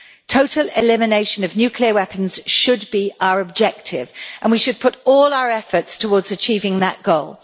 Total elimination of nuclear weapons should be our objective, and we should put all our efforts towards achieving that goal.